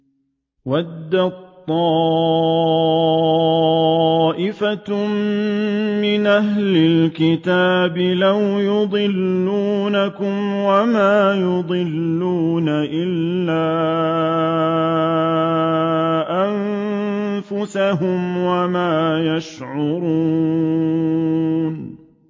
وَدَّت طَّائِفَةٌ مِّنْ أَهْلِ الْكِتَابِ لَوْ يُضِلُّونَكُمْ وَمَا يُضِلُّونَ إِلَّا أَنفُسَهُمْ وَمَا يَشْعُرُونَ